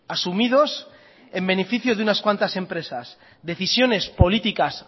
asumidos en beneficio de unas cuantas empresas decisiones políticas